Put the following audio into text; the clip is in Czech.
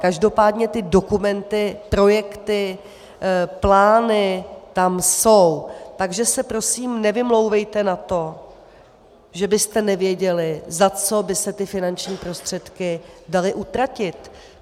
Každopádně ty dokumenty, projekty, plány tam jsou, takže se prosím nevymlouvejte na to, že byste nevěděli, za co by se ty finanční prostředky daly utratit.